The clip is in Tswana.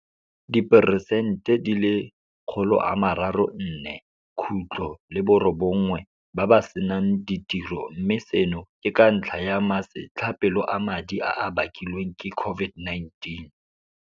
Diperesente 34.9 ba ba senang ditiro, mme seno ke ka ntlha ya masetlapelo a madi a a bakilweng ke COVID-19.